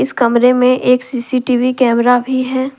इस कमरे में एक सी_सी_टी_वी कैमरा भी है।